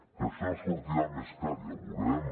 que això sortirà més car ja ho veurem